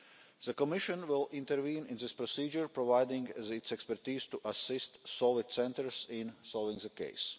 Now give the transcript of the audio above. The Commission will intervene in this procedure, providing the expertise to assist solid centres in solving the case.